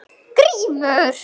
GRÍMUR: Já, Magnús minn!